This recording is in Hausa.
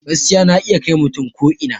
Gaskiya na iya kai mutum ko ina